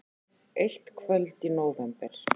Eitt kvöld í nóvember.